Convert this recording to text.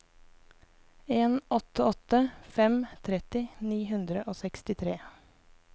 en åtte åtte fem tretti ni hundre og sekstitre